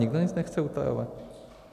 Nikdo nic nechce utajovat.